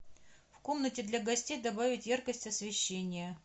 в комнате для гостей добавить яркость освещения